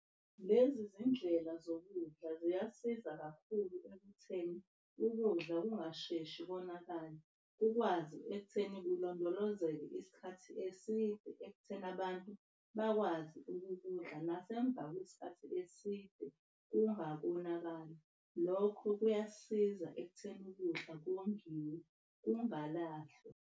Lezi zindlela zokudla ziyasiza kakhulu ekutheni ukudla kungasheshi konakale. Kukwazi ekutheni kulondolozeke isikhathi eside nabantu bakwazi ukudla nasemva kwesikhathi eside kungakonakali. Lokho kuyasiza ekuthenini ukudla kongiwe kungalahlwa.